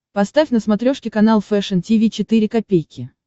поставь на смотрешке канал фэшн ти ви четыре ка